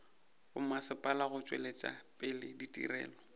bommasepala go tšwetša pele ditirelo